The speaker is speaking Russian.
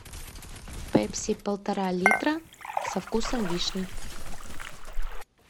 пепси полтора литра со вкусом вишни